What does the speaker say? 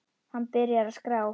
Hann byrjar að skrá.